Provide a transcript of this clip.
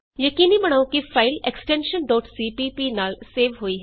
ਯਕੀਨੀ ਬਣਾਉ ਕਿ ਫਾਈਲ ਐਕਸਟੈਨਸ਼ਨ cpp ਨਾਲ ਸੇਵ ਹੋਈ ਹੇ